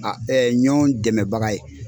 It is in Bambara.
A ɲɔn dɛmɛbaga ye.